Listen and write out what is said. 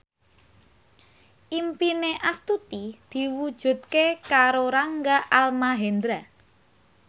impine Astuti diwujudke karo Rangga Almahendra